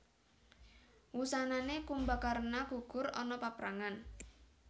Wusanané Kumbakarna gugur ana paprangan